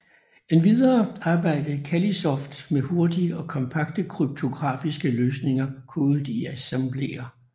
Endvidere arbejdede Callisoft med hurtige og kompakte kryptografiske løsninger kodet i assembler